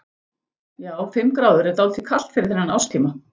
Já, fimm gráður er dálítið kalt fyrir þennan árstíma.